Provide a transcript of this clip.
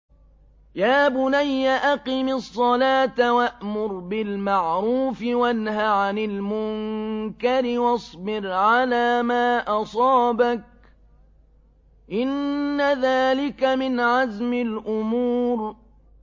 يَا بُنَيَّ أَقِمِ الصَّلَاةَ وَأْمُرْ بِالْمَعْرُوفِ وَانْهَ عَنِ الْمُنكَرِ وَاصْبِرْ عَلَىٰ مَا أَصَابَكَ ۖ إِنَّ ذَٰلِكَ مِنْ عَزْمِ الْأُمُورِ